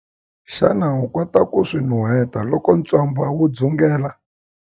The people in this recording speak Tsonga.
Xana u kota ku swi nuheta loko ntswamba wu dzungela?